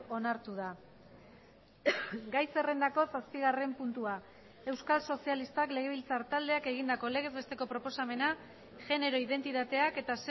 onartu da gai zerrendako zazpigarren puntua euskal sozialistak legebiltzar taldeak egindako legez besteko proposamena genero identitateak eta